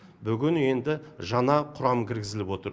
бүгін енді жаңа құрам кіргізіліп отыр